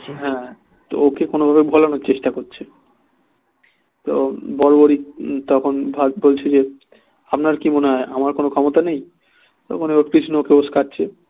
হ্যাঁ তো ওকে কোনো ভাবে ভোলানোর চেষ্টা করছে তো তখন বলছে যে আপনার কি মনে হয় আমার কোনো ক্ষমতা নেই তখন ও কৃষ্ণকে উস্কাচ্ছে